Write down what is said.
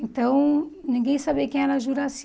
Então, ninguém sabia quem era a Juracy.